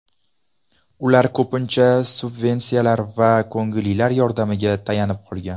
Ular ko‘pincha subvensiyalar va ko‘ngillilar yordamiga tayanib qolgan.